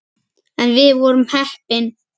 En við vorum heppin.